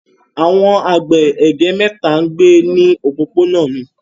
Àwọn àgbẹ̀ ègé mẹ́ta ń gbé ní òpópónà mi.